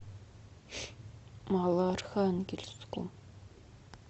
малоархангельску